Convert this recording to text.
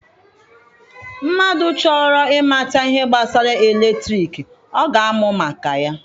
Mmadụ chọrọ ịmata ihe gbasara eletriki, ọ ga-amụ maka ya.